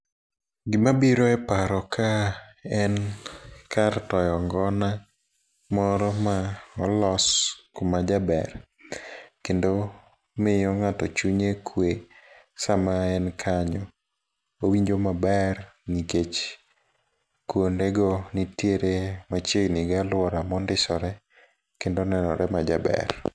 Gima biro e paro ka en kar toyo ngona moro ma olos kuma jaber. Kendo miyo ng'ato chunye kwe sama en kanyo. Owinjo maber nikech kuonde go nitiere machiegni gi alwora ma ondisore kendo nenore majaber.